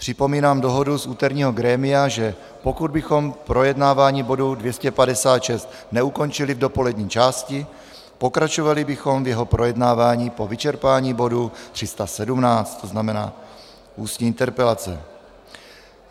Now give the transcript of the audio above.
Připomínám dohodu z úterního grémia, že pokud bychom projednávání bodu 256 neukončili v dopolední části, pokračovali bychom v jeho projednávání po vyčerpání bodu 317, to znamená ústní interpelace.